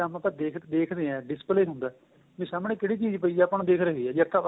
ਜਿਸ time ਆਪਾਂ ਦੇਖਦੇ ਹਾਂ display ਹੁੰਦਾ ਵੀ ਸਾਹਮਣੇ ਕਿਹੜੀ ਚੀਜ ਪਈ ਏ ਸਾਨੂੰ ਦਿਖ਼ ਰਹੀ ਏ ਜੇ ਅੱਖਾਂ